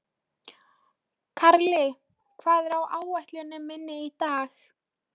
Karli, hvað er á áætluninni minni í dag?